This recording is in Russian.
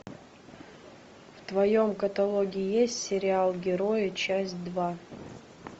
в твоем каталоге есть сериал герои часть два